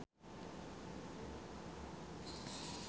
Mat Solar olohok ningali Queen keur diwawancara